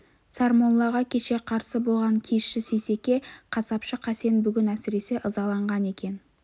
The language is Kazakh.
сармоллаға кеше қарсы болған киізші сейсеке қасапшы қасен бүгін әсіресе ызаланған екен